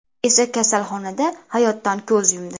esa kasalxonada hayotdan ko‘z yumdi.